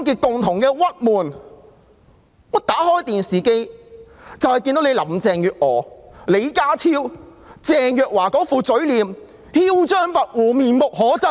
打開電視，便看到林鄭月娥、李家超和鄭若驊那些囂張跋扈的嘴臉，面目可憎。